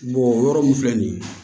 o yɔrɔ min filɛ nin ye